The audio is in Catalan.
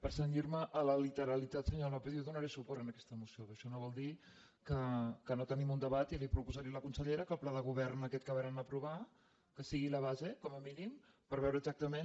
per cenyir me a la literalitat senyor lópez jo donaré suport a aquesta moció però això no vol dir que no tenim un debat i li proposaré a la consellera que el pla de govern aquest que varen aprovar que sigui la base com a mínim per veure exactament